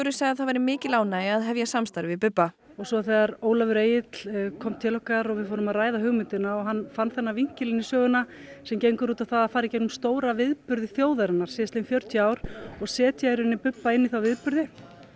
sagði að það væri mikil ánægja að hefja samstarf við Bubba svo þegar Ólafur Egill kom til okkar og við fórum að ræða hugmyndina og hann fann þennan vinkil inn í söguna sem gengur út á það að fara í gegnum stóra viðburði þjóðarinnar síðastliðin fjörutíu ár og setja i rauninni Bubba inn í þá viðburði